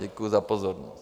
Děkuji za pozornost.